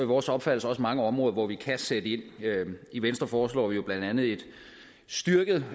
vores opfattelse også mange områder hvor vi kan sætte ind i venstre foreslår vi jo blandt andet et styrket